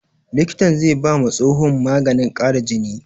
Likitan zai ba ma tsohon maganin ƙara jini